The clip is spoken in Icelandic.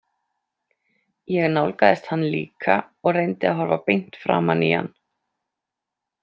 Ég nálgaðist hann líka og reyndi að horfa beint framan í hann.